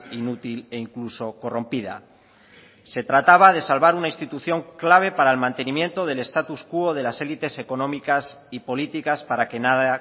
inútil e incluso corrompida se trataba de salvar una institución clave para el mantenimiento del estatus quo de las élites económicas y políticas para que nada